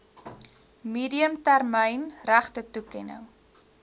medium termyn regtetoekenning